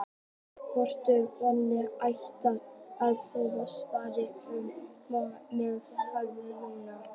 Mörtu hvað barnið ætti að heita, svaraði hún með hægð: Jóna.